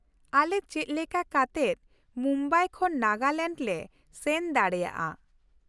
ᱟᱞᱮ ᱪᱮᱫ ᱞᱮᱠᱟ ᱠᱟᱛᱮᱫ ᱢᱩᱢᱵᱟᱭ ᱠᱷᱚᱱ ᱱᱟᱜᱟᱞᱮᱱᱰ ᱞᱮ ᱥᱮᱱ ᱫᱟᱲᱮᱭᱟᱜᱼᱟ ?